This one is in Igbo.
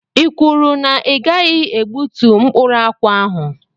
I kwuru na i gaghị egbútú mkpụrụ akwụ ahụ?